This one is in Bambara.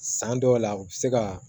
San dɔw la u bɛ se ka